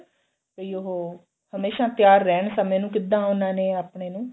ਵੀ ਉਹ ਹਮੇਸ਼ਾ ਤਿਆਰ ਰਹਿਣ ਸਮੇਂ ਨੂੰ ਕਿੱਦਾਂ ਉਹਨਾ ਨੇ ਆਪਣੇ ਨੂੰ